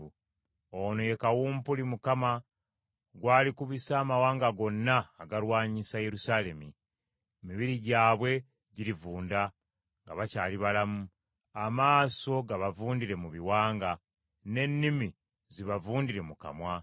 Ono ye kawumpuli Mukama gw’alikubisa amawanga gonna agaalwanyisa Yerusaalemi. Emibiri gyabwe girivunda nga bakyali balamu. Amaaso gabavundire mu biwanga, n’ennimi zibavundire mu kamwa.